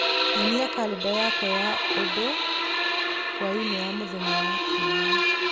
Nyonia kalenda yakwa ya ũndũ hwaĩ-inĩ wa mũthenya wa Kiumia